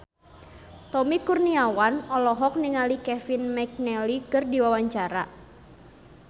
Tommy Kurniawan olohok ningali Kevin McNally keur diwawancara